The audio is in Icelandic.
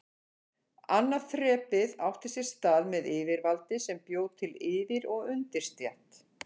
Annað þrepið átti sér stað með yfirvaldi sem bjó til yfir- og undirstétt.